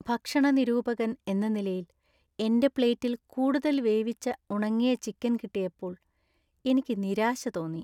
ഭക്ഷണ നിരൂപകൻ എന്ന നിലയിൽ, എന്‍റെ പ്ലേറ്റിൽ കൂടുതൽ വേവിച്ച ഉണങ്ങിയ ചിക്കൻ കിട്ടിയപ്പോൾ എനിക്ക് നിരാശ തോന്നി .